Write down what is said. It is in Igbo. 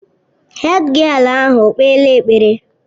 Hédgịél ahụ okpeela ekpere?